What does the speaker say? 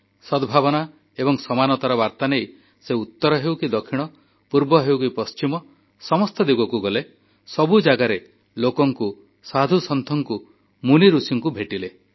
ସଦ୍ଭାବନା ଏବଂ ସମାନତାର ବାର୍ତ୍ତା ନେଇ ସେ ଉତ୍ତର ହେଉ କି ଦକ୍ଷିଣ ପୂର୍ବ ହେଉ କି ପଶ୍ଚିମ ସମସ୍ତ ଦିଗକୁ ଗଲେ ସବୁ ଜାଗାରେ ଲୋକଙ୍କୁ ସାଧୁସନ୍ଥଙ୍କୁ ମୁନିଋଷିଙ୍କୁ ଭେଟିଲେ